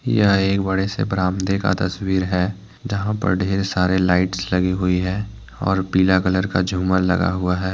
यह एक बड़े से बरामदे का तस्वीर है जहां पर ढेर सारे लाइट्स लगी हुई है और पीला कलर का झूमर लगा हुआ है।